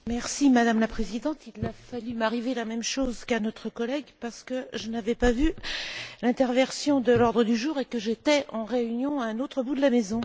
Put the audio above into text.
Madame la Présidente, il a failli m'arriver la même chose qu'à notre collègue parce que je n'avais pas vu l'interversion de l'ordre du jour et que j'étais en réunion à l'autre bout de la maison.